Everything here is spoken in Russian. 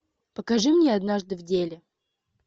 покажи мне однажды в деле